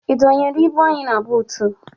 Ị dọnyere ibu anyị na buutu?